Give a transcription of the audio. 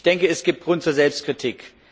Ich denke, es gibt Grund zur Selbstkritik.